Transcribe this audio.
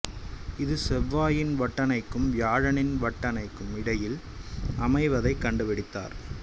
இது செவ்வாயின் வட்டணைக்கும் வியாழனின் வட்டணைக்கும் இடையில் அமைவதைக் கண்டுபிடித்தார்